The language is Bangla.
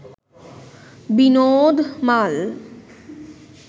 বিনোদ মাল